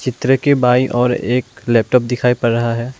तर की बाई ओर एक लैपटॉप दिखाई पड़ रहा है।